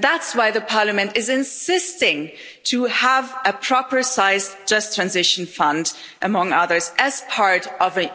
That's why the Parliament is insisting on having a proper sized Just Transition Fund, among others, as part of a